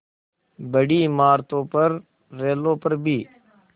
बड़ी इमारतों पर रेलों पर भी